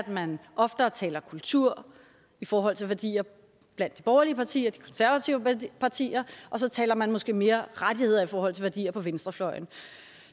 man oftere taler kultur i forhold til værdier blandt de borgerlige partier de konservative partier og så taler man måske mere rettigheder i forhold til værdier på venstrefløjen